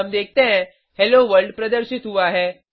हम देखते हैं हेलो वर्ल्ड प्रदर्शित हुआ है